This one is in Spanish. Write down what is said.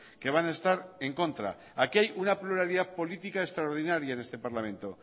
que van a estar en contra aquí hay una pluralidad política extraordinaria en este parlamento